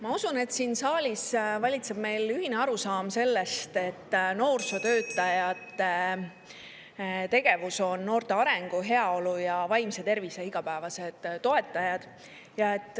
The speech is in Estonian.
Ma usun, et siin saalis valitseb meil ühine arusaam, et noorsootöötajad on noorte arengu, heaolu ja vaimse tervise igapäevased toetajad.